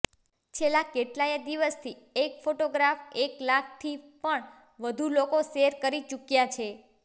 છેલ્લા કેટલાય દિવસથી એક ફોટાગ્રાફ એક લાખથી પણ વધુ લોકો શૅર કરી ચુક્યા છે